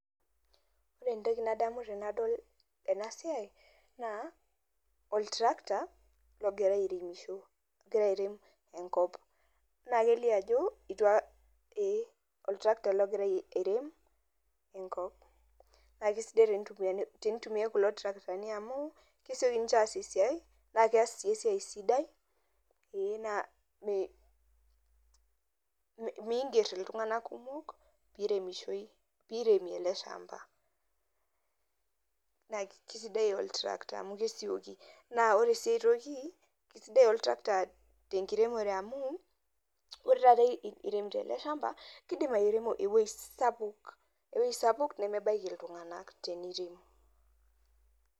Ore entoki nadamu tenadol ena siai naa oltrakta logira airemisho ogira airem enkop, naa kelio ajo itu aka ee oltrakta logira airem enkop naa kesidai tenitumiani tenitumiai kulo traktani amu kesioki ninje aas esiai naake ees sii esiai sidai ee naa mee miing'er iltung'anak kumok piiremishoi piiremi ele shamba naa kisidai oltrakta amu kisioki. Naa ore sii enkae toki naa kisidai oltrakta te nkiremore amu ore taata iremito ele shamba, kidim airemo ewuei sapuk ewuei sapuk nemebaiki iltung'anak teniirem.